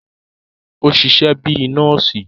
O ṣiṣẹ bi nọọsi